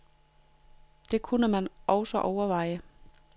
Det kunne man også overveje.